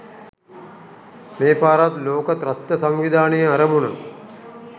මේ පාරත් ලෝක ත්‍රස්ත සංවිධානයේ අරමුණ.